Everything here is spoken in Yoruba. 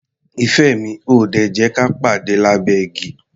Ìfẹ́ mi, o ò ò dè jẹ́ ka pàde lábẹ́ igi?